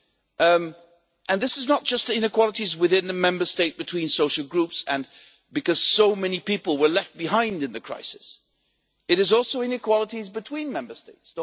We are talking not just about inequalities within the Member States and between social groups and because so many people were left behind in the crisis, but also about inequalities between Member States.